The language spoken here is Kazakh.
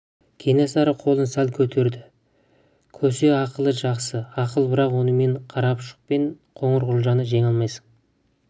кенесары қолын сәл көтерді көсе ақылы жақсы ақыл бірақ онымен қарапұшық пен қоңырқұлжаны жеңе алмайсың